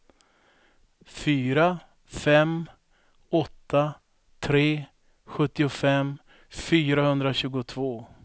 fyra fem åtta tre sjuttiofem fyrahundratjugotvå